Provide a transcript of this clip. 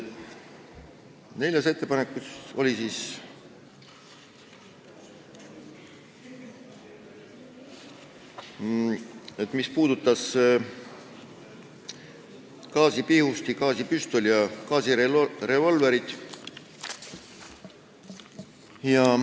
Neljas ettepanek puudutas gaasipihustit, gaasipüstolit ja gaasirevolvrit.